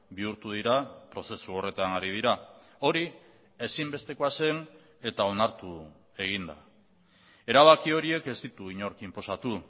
bihurtu dira prozesu horretan ari dira hori ezinbestekoa zen eta onartu egin da erabaki horiek ez ditu inork inposatu